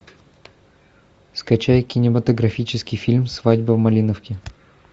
скачай кинематографический фильм свадьба в малиновке